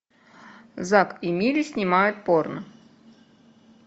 зак и мири снимают порно